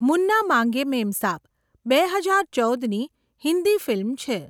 મુન્ના માંગે મેમસાબ' બે હજાર ચૌદની હિન્દી ફિલ્મ છે.